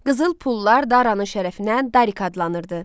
Qızıl pullar Daranın şərəfinə Darik adlanırdı.